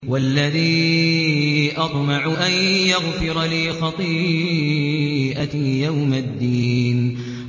وَالَّذِي أَطْمَعُ أَن يَغْفِرَ لِي خَطِيئَتِي يَوْمَ الدِّينِ